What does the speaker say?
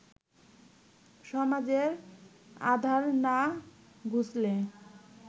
সমাজের আঁধার না ঘুচলে